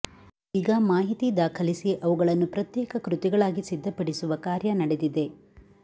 ಈಗ ಮಾಹಿತಿ ದಾಖಲಿಸಿ ಅವುಗಳನ್ನು ಪ್ರತ್ಯೇಕ ಕೃತಿಗಳಾಗಿ ಸಿದ್ಧಪಡಿಸುವ ಕಾರ್ಯ ನಡೆದಿದೆ